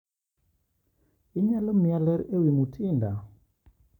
Inyalo miya ler ewi Mutinda?